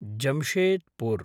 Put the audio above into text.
Jamshedpur